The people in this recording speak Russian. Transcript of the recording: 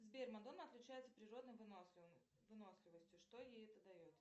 сбер мадонна отличается природной выносливостью что ей это дает